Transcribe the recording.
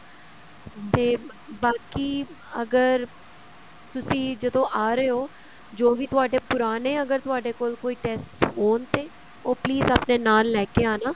ਤੇ ਬਾਕੀ ਅਗਰ ਤੁਸੀਂ ਜਦੋਂ ਆ ਰਹੇ ਹੋ ਜੋ ਵੀ ਤੁਹਾਡੇ ਪੁਰਾਣੇ ਅਗਰ ਤੁਹਾਡੇ ਕੋਲ ਕੋਈ testes ਹੋਣ ਤੇ ਉਹ please ਆਪਣੇ ਨਾਲ ਲੈਕੇ ਆਣਾ